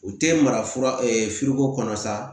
U tɛ mara fura kɔnɔ sa